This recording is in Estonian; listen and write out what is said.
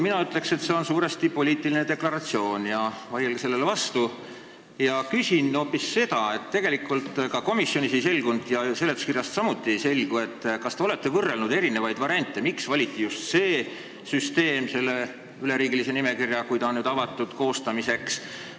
Mina ütleks, et see on suuresti poliitiline deklaratsioon – vaielge sellele vastu –, aga küsin hoopis selle kohta, et komisjonis ei selgunud ja seletuskirjast samuti ei selgu, kas te olete võrrelnud eri variante ja miks valiti just see süsteem selle üleriigilise nimekirja koostamiseks.